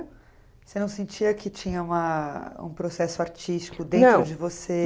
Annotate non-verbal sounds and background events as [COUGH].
Você não sentia que tinha uma um processo artístico [UNINTELLIGIBLE] de você?